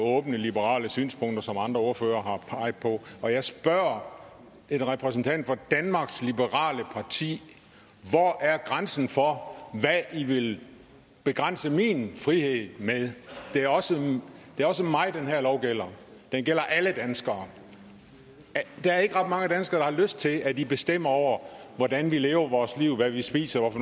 åbne liberale synspunkter som andre ordførere har peget på og jeg spørger en repræsentant for danmarks liberale parti hvor er grænsen for hvad i vil begrænse min frihed med det er også også mig den her lov gælder den gælder alle danskere der er ikke ret mange danskere der har lyst til at i bestemmer over hvordan vi lever vores liv hvad vi spiser hvad